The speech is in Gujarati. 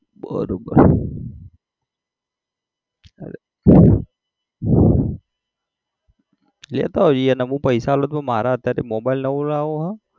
બરોબર અરે લેતા આવજે અને હું પૈસા આપતો પણ મારે અત્યારે mobile નવો લાવો છે.